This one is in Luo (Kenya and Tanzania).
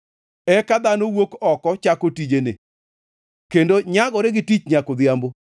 Eka dhano wuok oko chako tijene, kendo nyagore gi tich nyaka odhiambo.